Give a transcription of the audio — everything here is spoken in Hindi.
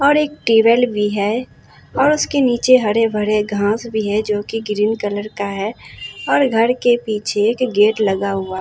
और एक टेबल भी है और उसके नीचे हरे भरे घास भी है जोकि ग्रीन कलर का है और घर के पीछे एक गेट लगा हुआ--